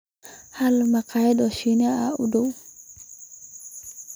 hel makhaayadaha Shiinaha ee u dhow